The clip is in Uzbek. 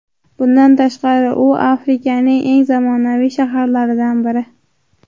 Bundan tashqari u Afrikaning eng zamonaviy shaharlaridan biri.